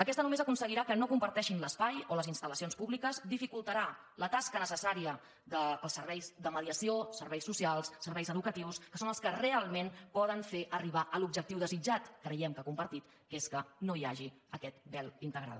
aquesta només aconseguirà que no comparteixin l’espai o les instalca necessària dels serveis de mediació serveis socials serveis educatius que són els que realment poden fer arribar a l’objectiu desitjat creiem que compartit que és que no hi hagi aquest vel integral